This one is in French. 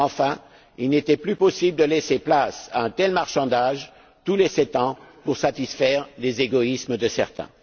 Enfin, il n'était plus possible de laisser place à un tel marchandage tous les sept ans pour satisfaire les égoïsmes de certains.